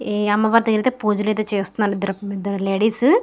ఈ అమ్మవారికి అయితే పూజలు చేస్తున్నారు ఇద్దరు లేడీస్ .